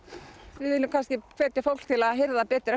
við viljum hvetja fólk til að hirða betur